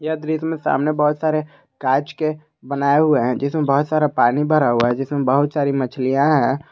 यह दृश्य में सामने बहोत सारे कांच के बनाए हुए हैं जिसमें बहुत सारा पानी भरा हुआ है जिसमें बहुत सारी मछलियां है।